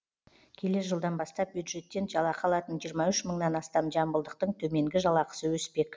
келер жылдан бастап бюджеттен жалақы алатын жиырма үш мыңнан астам жамбылдықтың төменгі жалақысы өспек